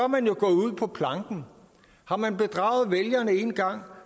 man jo gået ud på planken har man bedraget vælgerne en gang